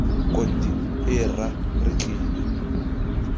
konti ee rra re tlile